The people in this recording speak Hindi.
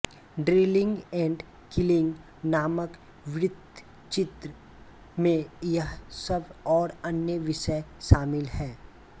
ड्रिलिंग एण्ड किलिंग नामक वृत्तचित्र में यह सब और अन्य विषय शामिल है